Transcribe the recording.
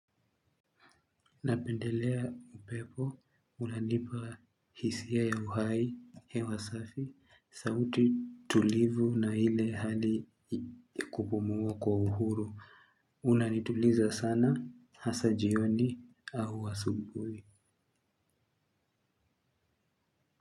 Napendelea upepo, unanipa hisia ya uhai, hewa safi, sauti tulivu na ile hali kupumua kwa uhuru. Unanituliza sana, hasa jioni au asubuhi.